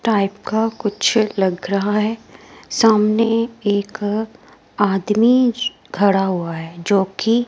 type का कुछ लग रहा है सामने एक आदमी खड़ा हुआ है जो की --